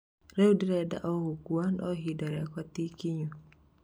Rĩu ndirĩnda o gũkua, no ihinda riakwa ti ikinyu."